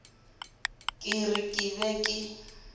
ke re ke be ke